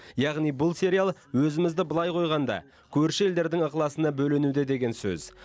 яғни бұл сериал өзімізді былай қойғанда көрші елдердің ықыласына бөленуде деген сөз